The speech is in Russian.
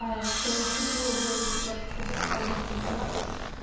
а я когда выходила был где-то двадцать один градус девятнадцать